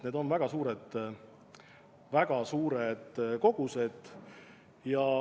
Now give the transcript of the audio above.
Need on väga suured kogused.